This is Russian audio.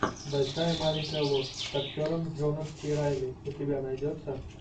большая маленькая ложь с актером джоном си райли у тебя найдется